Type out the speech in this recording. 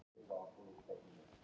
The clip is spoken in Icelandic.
Ég byggi á atburðum.